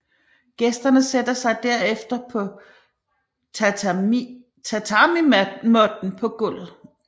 Gæsterne sætter sig derefter på tatamimåtten på gulvet